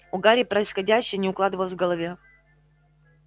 у гарри происходящее не укладывалось в голове